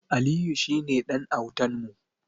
Aliyu shine ɗan autan mu.